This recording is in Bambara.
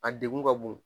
A degun ka bon